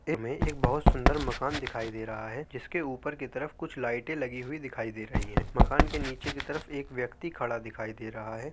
इस चित्र मे एक बोहोत सुंदर मकान दिखाई दे रहा है जिसके ऊपर के तरफ कुछ लाइटें लगी हुई दिखाई दे रही हैं। मकान के नीचे की तरफ एक व्यक्ति खड़ा दिखाई दे रहा है।